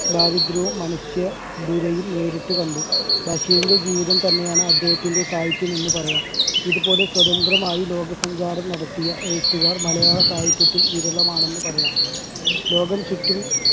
ദാരിദ്ര്യവും മനുഷ്യ ദുരയും നേരിട്ടു കണ്ടു. ബഷീറിന്റെ ജീവിതം തന്നെയാണ് അദ്ദേഹത്തിന്റെ സാഹിത്യം എന്നു പറയാം. ഇതുപോലെ സ്വതന്ത്രമായി ലോകസഞ്ചാരം നടത്തിയ എഴുത്തുകാർ മലയാള സാഹിത്യത്തിൽ വിരളമാണെന്ന് പറയാം. ലോകം ചുറ്റും